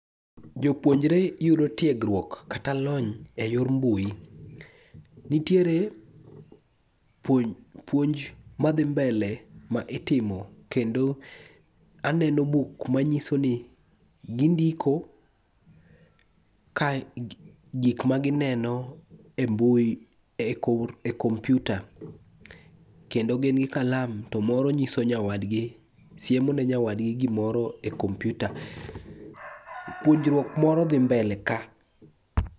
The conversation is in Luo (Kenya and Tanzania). Jopuonjre yudo tiegruok kata lony e yor mbui. Nitiere puonj madhi mbele ma itimo kendo aneno buk manyiso ni gindiko kae gikma gineno e mbui e kompiuta, kendo gin gi kalam to moro nyiso nyawadgi siemo ne nyawadgi gimoro e kompiuta. Puonjruok moro dhi mbele ka.